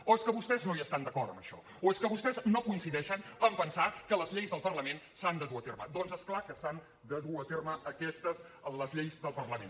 o és que vostès no hi estan d’acord en això o és que vostès no coincideixin en pensar que les lleis del parlament s’han de dur a terme doncs és clar que s’han de dur a terme les lleis del parlament